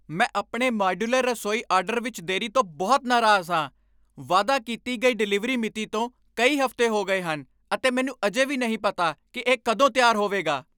ਮੈਂ ਆਪਣੇ ਮਾਡਿਊਲਰ ਰਸੋਈ ਆਰਡਰ ਵਿੱਚ ਦੇਰੀ ਤੋਂ ਬਹੁਤ ਨਾਰਾਜ਼ ਹਾਂ। ਵਾਅਦਾ ਕੀਤੀ ਗਈ ਡਿਲੀਵਰੀ ਮਿਤੀ ਤੋਂ ਕਈ ਹਫ਼ਤੇ ਹੋ ਗਏ ਹਨ, ਅਤੇ ਮੈਨੂੰ ਅਜੇ ਵੀ ਨਹੀਂ ਪਤਾ ਕਿ ਇਹ ਕਦੋਂ ਤਿਆਰ ਹੋਵੇਗਾ।